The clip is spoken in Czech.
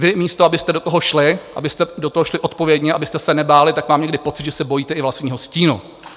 Vy místo abyste do toho šli, abyste do toho šli odpovědně, abyste se nebáli, tak mám někdy pocit, že se bojíte i vlastního stínu!